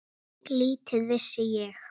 Lítið vissi ég.